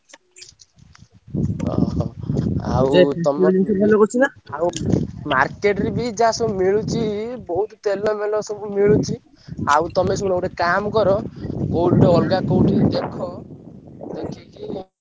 ଅହ! ଆଉ ଆଉ market ରେ ବି ଯାହା ସବୁ ମିଳୁଚି ବହୁତ୍ ତେଲ ମେଲ ସବୁ ମିଳୁଚି, ଆଉ ତମେ ଶୁଣ ଗୋଟେ କାମ କର କୋଉଠି ଗୋଟେ ଅଲଗା କୋଉଠି ଦେଖ ଦେଖିକି।